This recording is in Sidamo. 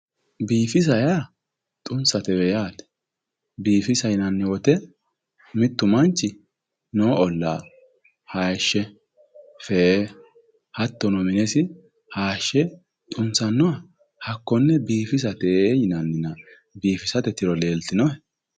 Biifisa yaa, xunsate yaate. Biifisa yinanni wote mittu manchi noo ollaa haayiishshe fee hattono minesi fee xunsannoha hakkonne biifisate yinannina biifisate tiro leeltinohe?